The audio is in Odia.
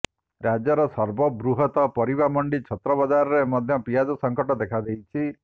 ରାଜ୍ୟର ସର୍ବବୃହତ ପରିବାମଣ୍ଡି ଛତ୍ରବଜାରରେ ମଧ୍ୟ ପିଆଜ ସଂକଟ ଦେଖାଦେଇଛି